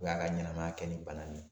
O y'a ka ɲɛnɛmaya kɛ ni bana nin ye.